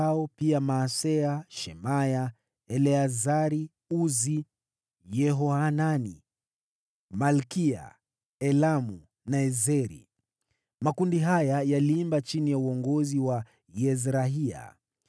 na pia Maaseya, Shemaya, Eleazari, Uzi, Yehohanani, Malkiya, Elamu na Ezeri. Makundi haya yaliimba chini ya uongozi wa Yezrahia.